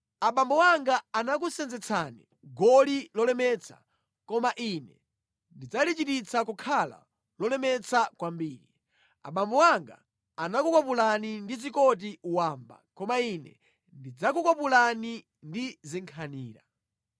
Abambo anga anakusenzetsani goli lolemetsa koma ine ndidzalichititsa kukhala lolemetsa kwambiri. Abambo anga anakukwapulani ndi zikoti wamba koma ine ndidzakukwapulani ndi zinkhanira.’ ”